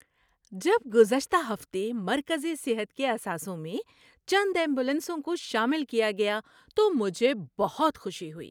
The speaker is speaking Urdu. جب گزشتہ ہفتے مرکزِ صحت کے اثاثوں میں چند ایمبولینسوں کو شامل کیا گیا تو مجھے بہت خوشی ہوئی۔